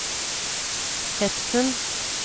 Fetsund